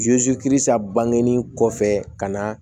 bangenni kɔfɛ ka na